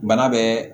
Bana bɛɛ